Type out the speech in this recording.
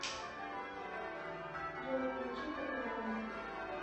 джой включи пропаганда